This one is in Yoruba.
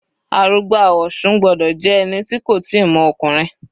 Arugba Osun gbọ́dọ̀ jẹ́ ẹni tí kò tíì mọ ọkùnrin.